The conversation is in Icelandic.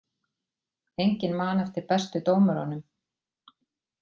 Enginn man eftir bestu dómurunum